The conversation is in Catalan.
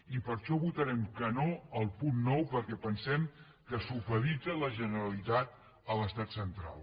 i per això votarem que no al punt nou perquè pensem que supedita la generalitat a l’estat central